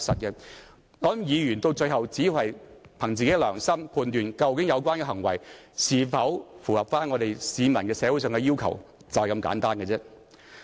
我想議員到最後只會憑自己良心來判斷，有關行為是否符合市民和社會上的要求，便是如此簡單。